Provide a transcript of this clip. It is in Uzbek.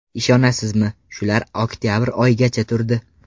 Ishonasizmi, shular oktabr oyigacha turdi.